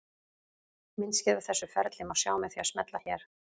Myndskeið af þessu ferli má sjá með því að smella hér.